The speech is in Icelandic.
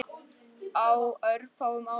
Á örfáum árum.